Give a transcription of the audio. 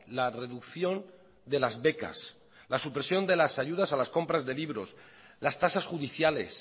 la reducción de las becas la supresión de las ayudas a las compras de libros las tasas judiciales